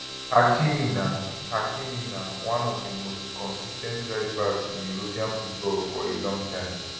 hakimi na hakimi na one of di most consis ten t rightbacks in european football for a long time